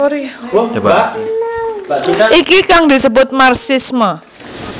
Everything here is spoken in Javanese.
Iki kang disebut marxisme